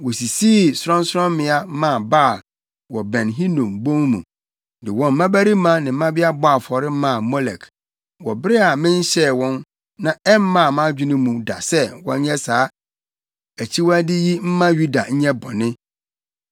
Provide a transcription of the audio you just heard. Wosisii sorɔnsorɔmmea maa Baal wɔ Ben Hinom bon mu, de wɔn mmabarima ne mmabea bɔɔ afɔre maa Molek, wɔ bere a menhyɛɛ wɔn na ɛmmaa mʼadwene mu da sɛ wɔnyɛ saa akyiwade yi mma Yuda nyɛ bɔne.